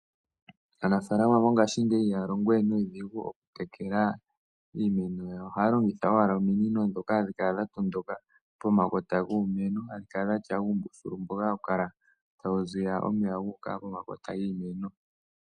Aanafaalama mongaashingeyi ihaya longo we nuudhigu oku tekela iimeno yawo, ohaya longitha owala ominino ndhoka dha tondoka pomakota guumeno, hadhi kala dhatya uumbuthulu mboka hawu kala tawu ziya omeya gu uka pomakota giimeno.